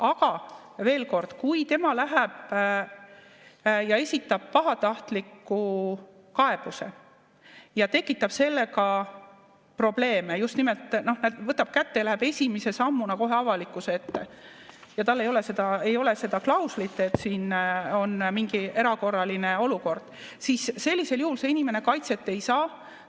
Aga veel kord, kui tema läheb ja esitab pahatahtliku kaebuse ja tekitab sellega probleeme, just nimelt võtab kätte ja läheb esimese sammuna kohe avalikkuse ette ja ei ole seda klauslit, et siin on mingi erakorraline olukord, siis sellisel juhul see inimene kaitset ei saa.